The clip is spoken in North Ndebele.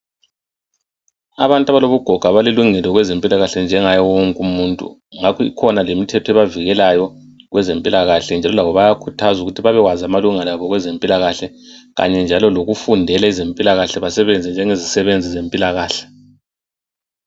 Abantu abalobugoga balelungelo kwezempilakahle njengaye wonke umuntu, ngakho ikhona lemithetho ebavikelayo kwezempilakahle njalo labo bayakhuthazwa ukuthi babewazi amalungelo abo kwezempilakahle kanye njalo lokufundela ezempilakahle, basebenze njengezisebenzi zempilakahle.